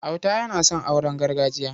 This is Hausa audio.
Auta yana son auren gargajiya.